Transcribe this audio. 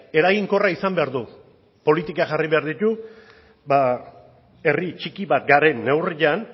eraginkorra izan behar du politikak jarri behar ditu herri txiki bat garen neurrian